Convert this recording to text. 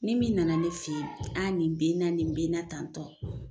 Ni min nana ne fe yen a ni be n na ni be n na tantɔ